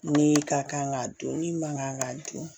Min ka kan ka dun min man kan ka dun